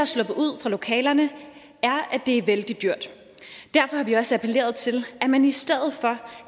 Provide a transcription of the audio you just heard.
sluppet ud fra lokalerne er at det er vældig dyrt derfor har vi også appelleret til at man i stedet for